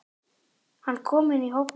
Hann kom inn í hópinn.